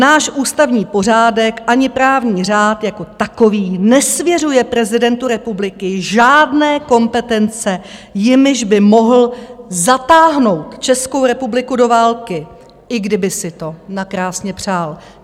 Náš ústavní pořádek ani právní řád jako takový nesvěřuje prezidentu republiky žádné kompetence, jimiž by mohl zatáhnout Českou republiku do války, i kdyby si to nakrásně přál.